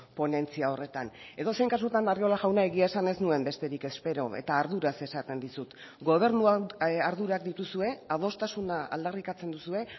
ponentzia horretan edozein kasutan arriola jauna egia esan ez nuen besterik espero eta arduraz esaten dizut gobernuan ardurak dituzue adostasuna aldarrikatzen duzue